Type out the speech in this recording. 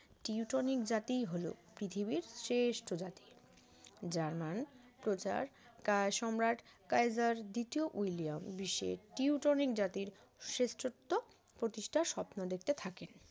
Teutonic জাতি হলো পৃথিবীর শ্রেষ্ঠ জাতি জার্মান প্রচার কার সম্রাট কাইজার দ্বিতীয় উইলিয়াম বিশ্বের টিউটনিক জাতির শ্রেষ্ঠত্ব প্রতিষ্ঠার স্বপ্ন দেখতে থাকেন